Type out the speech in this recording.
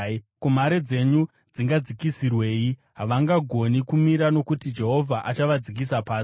Ko, mhare dzenyu dzingadzikisirwei? Havangagoni kumira, nokuti Jehovha achavadzikisa pasi.